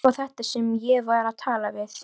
Hver var þetta sem ég var að tala við?